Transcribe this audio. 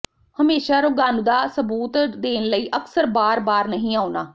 ਹਮੇਸ਼ਾ ਰੋਗਾਣੂਦਾ ਸਬੂਤ ਦੇਣ ਲਈ ਅਕਸਰ ਬਾਰ ਬਾਰ ਨਹੀਂ ਆਉਣਾ